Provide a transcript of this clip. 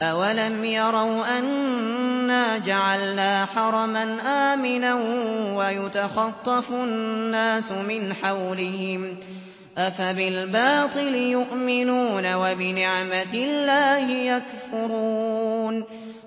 أَوَلَمْ يَرَوْا أَنَّا جَعَلْنَا حَرَمًا آمِنًا وَيُتَخَطَّفُ النَّاسُ مِنْ حَوْلِهِمْ ۚ أَفَبِالْبَاطِلِ يُؤْمِنُونَ وَبِنِعْمَةِ اللَّهِ يَكْفُرُونَ